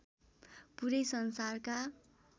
पूरै संसारका